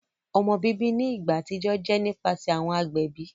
Ọmọ bibi ni igba atijọ jẹ nipasẹ awọn agbẹbi.